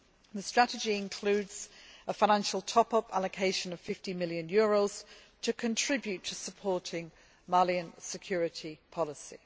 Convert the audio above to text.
The Strategy includes a financial top up allocation of EUR 50 million to contribute to supporting Malian security policy.